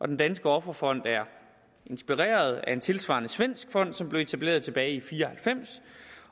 den danske offerfond er inspireret af en tilsvarende svensk fond som blev etableret tilbage i nitten fire og halvfems